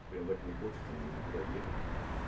прямо так не хочется мне никуда ехать